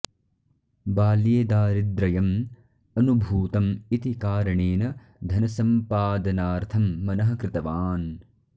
बाल्ये दारिद्र्यम् अनुभूतम् इति कारणेन धनसम्पादनार्थं मनः कृतवान्